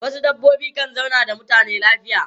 Wasu dabbobi kan zauna da mutane lafiya.